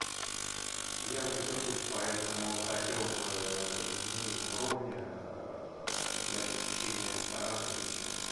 я задержусь поэтому хотел бы изменить бронь для посещения ресторана вечером